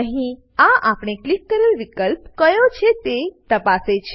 અહીં આ આપણે ક્લિક કરેલ વિકલ્પ કયો છે તેને તપાસે છે